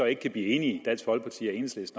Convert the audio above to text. ikke kan blive enige